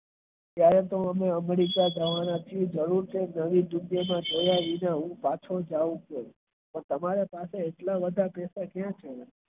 ત્યારે તો અમે સીખીયા વિના હું પાછો જાવ છું પણ તમારા પાસે એટલા બધા